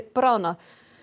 bráðnað